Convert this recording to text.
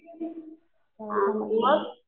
मग